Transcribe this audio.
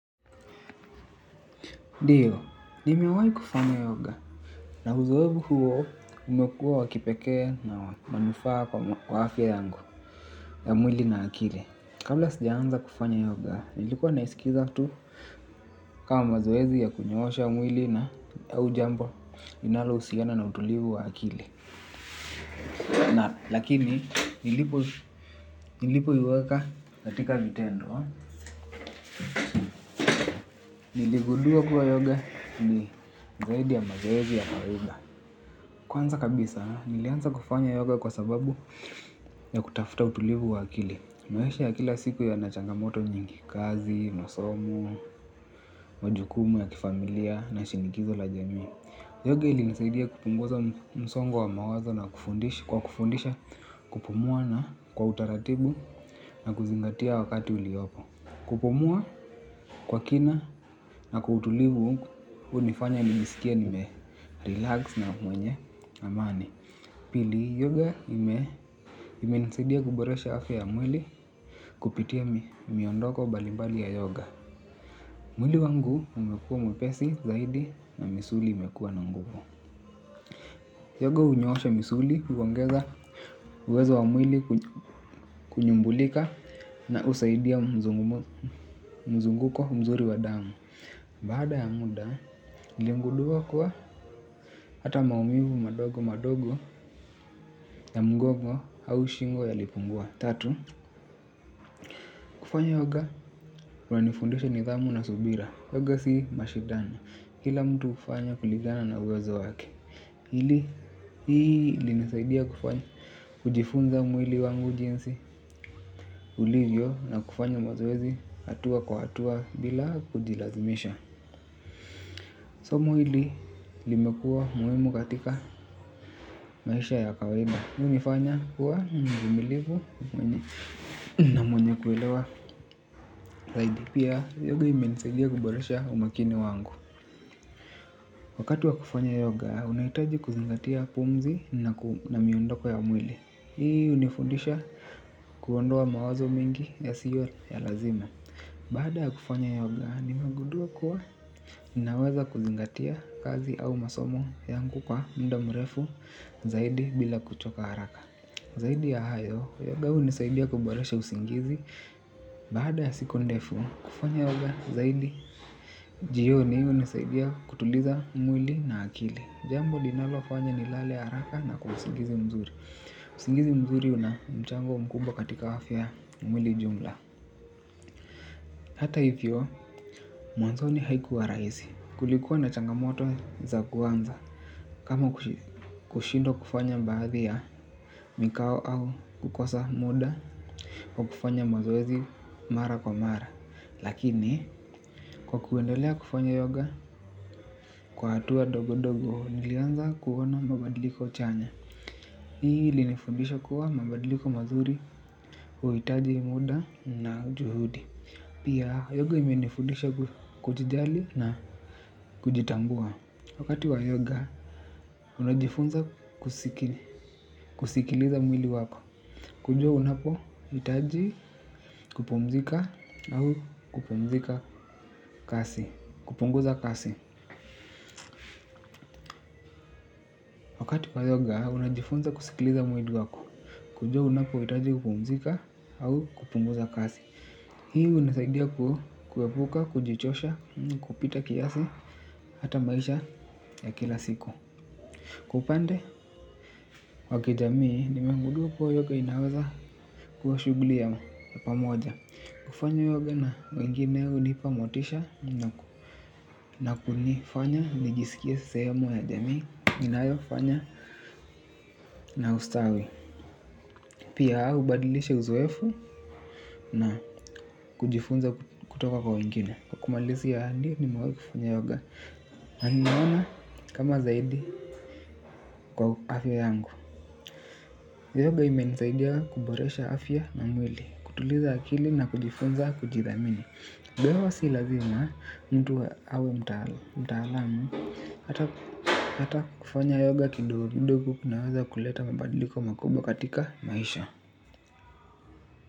Ndio, nimewai kufanya yoga na uzoefu huo umekuwa wakipekee na manufaa kwa afya yangu ya mwili na akili. Kabla sijaanza kufanya yoga, nilikuwa naisikiza tu kama mazoezi ya kunyoosha mwili na au jambo linalohusiana na utulivu wa akili. Lakini, nilipo iweka katika vitendo, niligudua kuwa yoga ni zaidi ya mazoezi ya kawaida. Kwanza kabisa, nilianza kufanya yoga kwa sababu ya kutafuta utulivu wa akili. Maisha ya kila siku yana changamoto nyingi kazi, masomo, majukumu ya kifamilia na shinikizo la jamii. Yoga ili nisaidia kupunguza msongo wa mawazo kwa kufundisha kupumua na kwa utaratibu na kuzingatia wakati uliopo. Kupumua kwa kina na kwa utulivu hunifanya nijisikie nime relax na mwenye amani. Pili yoga imenisidia kuboresha afya ya mwili kupitia miondoko mbalimbali ya yoga. Mwili wangu umekuwa mwepesi zaidi na misuli imekuwa na nguvu. Yoga hunyoosha misuli huongeza uwezo wa mwili kunyumbulika na husaidia mzunguko mzuri wa damu. Baada ya muda niligudua kuwa hata maumivu madogo madogo ya mgongo au shingo yalipungua. Tatu, kufanya yoga kunanifundisha nidhamu na subira. Yoga si mashidano, kila mtu hufanya kulingana na uwezo wake. Hili, hii linisaidia kufanya kujifunza mwili wangu jinsi ulivyo na kufanya mazoezi hatua kwa hatua bila kujilazimisha somo hili limekuwa muhimu katika maisha ya kawaida ilinifanya kuwa mvumilivu na mwenye kuelewa. Zaidi pia yoga imenisaidia kuboresha umaakini wangu. Wakati wa kufanya yoga unaihitaji kuzingatia pumzi na miondoko ya mwili. Hii hunifundisha kuondoa mawazo mingi yasiyo ya lazima. Baada ya kufanya yoga nimegudua kuwa ninaweza kuzingatia kazi au masomo yangu kwa muda mrefu zaidi bila kuchoka haraka Zaidi ya hayo yoga hunisaidia kuboresha usingizi baada ya siku ndefu kufanya yoga zaidi jioni hunisaidia kutuliza mwili na akili jambo linalo fanya ni lale haraka na kwa usingizi mzuri usingizi mzuri una mchango mkumba katika afya ya mwili jumla hata hivyo mwanzoni haikuwa rahisi kulikuwa na changamoto za kuanza kama kushindwa kufanya baadhi ya mikao au kukosa muda wa kufanya mazoezi mara kwa mara. Lakini kwa kuendelea kufanya yoga kwa hatua dogo dogo nilianza kuona mabadiliko chanya hii ili nifundisha kuwa mabadiliko mazuri huhitaji muda na juhudi. Pia yoga imenifundisha kujijali na kujitambua. Wakati wa yoga unajifunza kusikiliza mwili wako. Kujua unapohitaji kupumzika au kupumzika kasi, kupunguza kasi. Tupa yoga, unajifunza kusikiliza mwili wako, kujua unapohitaji kupumzika au kupunguza kazi. Hii hunasaidia kuepuka, kujichosha, kupita kiasi, hata maisha ya kila siku. Kwa upande, wa kijamii, nimengudua kuwa yoga inaweza kuwa shughuli ya pamoja. Kufanya yoga na wengine hunipa motisha na kunifanya, nijisikie sehemu ya jamii, inayofanya na ustawi. Pia hubadilisha uzoefu na kujifunza kutoka kwa wengine. Kwa kumalizia ndio nimewahi kufanya yoga. Na nimeona kama zaidi kwa afya yangu. Yoga imenisaidia kuboresha afya na mwili. Kutuliza akili na kujifunza kujithamini. Though si lazima mtu awe mtaalamu hata kufanya yoga kidogo kidogo kunaweza kuleta mabadiliko makubwa katika maisha.